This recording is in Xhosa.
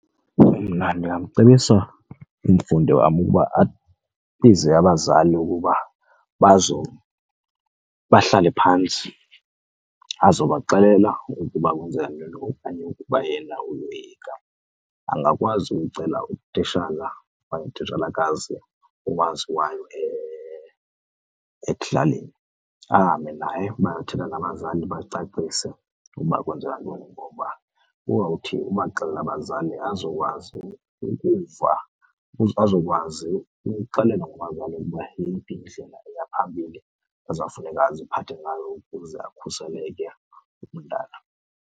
Mna ndingamcebisa umfundi wam ukuba abize abazali ukuba bahlale phantsi azobaxelela ukuba kwenzeka ntoni, okanye ukuba yena uyoyika angakwazi uyocela utishala okanye utitshalakazi owaziwayo ekuhlaleni. Ahambe naye bayothetha nabazali, bacacise ukuba kwenzeka ntoni. Ngoba uzawuthi ubaxelela abazali azokwazi ukuva , azokwazi ukuxelelwa ngabazali ukuba yeyiphi indlela eya phambili azawufuneka aziphathe ngayo ukuze akhuseleke umntana.